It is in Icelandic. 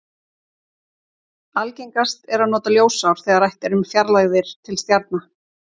Algengast er að nota ljósár þegar rætt er um fjarlægðir til stjarna.